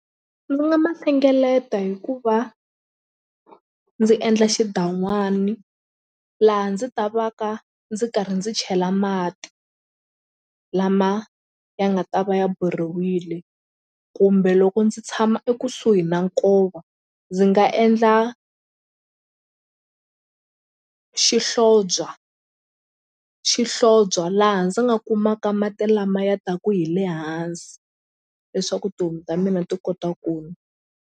Ndzi nga ma hlengeleta hi ku va ndzi endla xidan'wani laha ndzi ta va ka ndzi karhi ndzi chela mati lama ya nga ta va ya boriwile kumbe loko ndzi tshama ekusuhi na nkova ndzi nga endla xihlobya xihlobya laha ndzi nga kumaka mati lama ya taku hi le hansi leswaku tihomu ta mina ti kota .